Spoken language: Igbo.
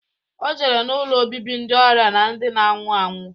O jere n'ụlọ obibi ndị ọrịa na ndi na-anwụ anwụ.